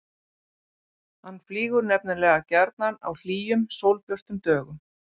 Hann flýgur nefnilega gjarnan á hlýjum, sólbjörtum dögum.